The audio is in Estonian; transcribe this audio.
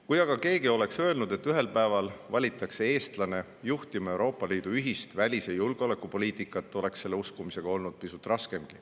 Kui aga keegi oleks öelnud, et ühel päeval valitakse eestlane juhtima Euroopa Liidu ühist välis- ja julgeolekupoliitikat, oleks selle uskumisega olnud pisut raskem.